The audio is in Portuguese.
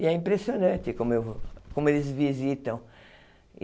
E é impressionante como eu como eles visitam.